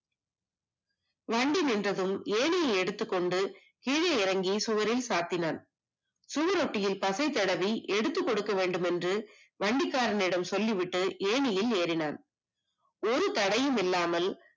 வண்டி நின்றதும் இனி எடுத்துக்கொண்டு கீழே இறங்கி சுவற்றில் சாத்தினால் சுவரொட்டியில் பசை தடவி எடுத்துக் கொடுக்க வேண்டும் என்று வண்டிக்காரன் இடம் சொல்லிவிட்டு ஏர்னிங் ஏணியில் ஏறினார் ஒரு தடயமும் இல்லாமல்